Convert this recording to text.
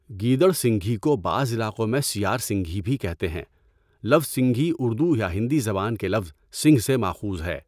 گیدڑ سینگھی کو بعض علاقوں میں سیہعار سینگھی بھی کہتے ہیں۔ لفظ سینگھی اردو یا ہندی زبان کے لفظ سینگھ سے ماخوذ ہے۔